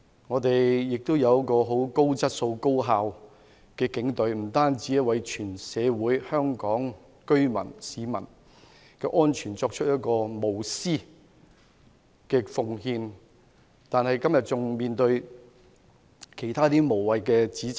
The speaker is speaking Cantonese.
我們亦有很高質素、高效率的警隊，不單為香港社會、居民、市民的安全作出無私奉獻，今天仍要面對其他無謂指責。